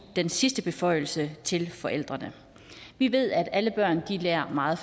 den sidste beføjelse til forældrene vi ved at alle børn lærer på meget